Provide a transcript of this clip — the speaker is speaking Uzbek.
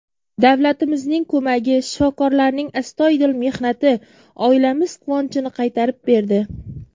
Davlatimizning ko‘magi, shifokorlarning astoydil mehnati oilamiz quvonchini qaytarib berdi.